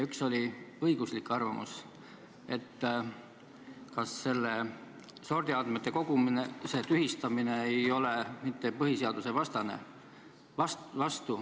Üks oli õiguslik arvamus ja küsimus, kas selle sordiandmete kogumise tühistamine ei ole mitte põhiseadusvastane.